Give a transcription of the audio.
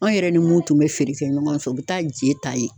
Anw yɛrɛ ni mun tun bɛ feere kɛ ɲɔgɔn fɛ, o bɛ taa je ta yen.